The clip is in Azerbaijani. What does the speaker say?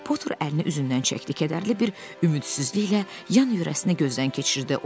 Poter əlini üzündən çəkdi, kədərli bir ümidsizliklə yan-yörəsini gözdən keçirdi.